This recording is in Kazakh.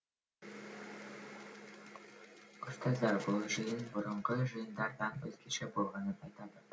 ұстаздар бұл жиын бұрынғы жиындардан өзгеше болғанын айтады